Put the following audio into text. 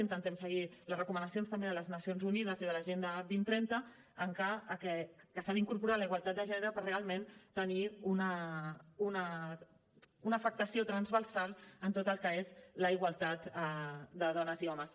intentem seguir les recomanacions també de les nacions unides i de l’agenda dos mil trenta que s’ha d’incorporar la igualtat de gènere per realment tenir una afectació transversal en tot el que és la igualtat de dones i homes